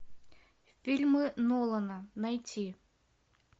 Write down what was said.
фильмы нолана найти